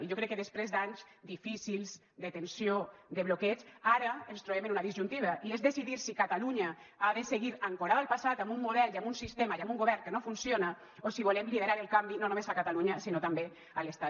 i jo crec que després d’anys difícils de tensió de bloqueig ara ens trobem en una disjuntiva i és decidir si catalunya ha de seguir ancorada al passat amb un model i amb un sistema i amb un govern que no funciona o si volem liderar el canvi no només a catalunya sinó també a l’estat